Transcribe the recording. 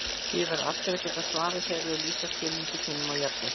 Því verða allir að geta svarað þegar þeir lýsa skilningi sínum á jafnrétti.